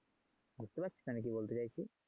বুঝতে পারছিস আমি কি বলতে চাইছি?